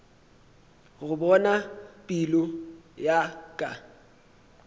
go bona pelo ya ka